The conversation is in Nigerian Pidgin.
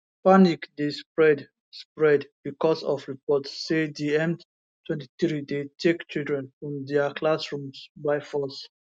panic dey spread spread becos of reports say di m23 dey take children from dia classrooms by force